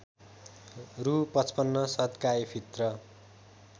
रु ५५ सद्काएफित्र